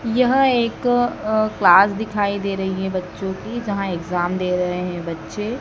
यह एक अ क्लास दिखाई दे रही है बच्चों की जहां एग्जाम दे रहे हैं बच्चे।